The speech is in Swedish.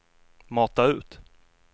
mata ut